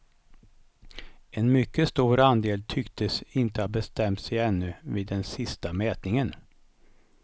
En mycket stor andel tycktes inte ha bestämt sig ännu vid den sista mätningen.